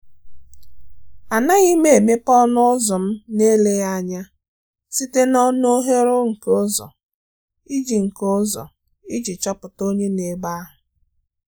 Ànaghị́ m émépé ọnụ́ ụ́zọ̀ m nà-èlèghị́ ányá site n'ọnụ́ oghere nke ụ́zọ̀ iji nke ụ́zọ̀ iji chọ́pụ̀ta onye nọ́ ebe ahụ́.